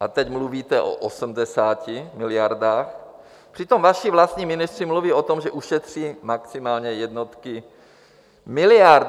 a teď mluvíte o 80 miliardách, přitom vaši vlastní ministři mluví o tom, že ušetří maximálně jednotky miliard.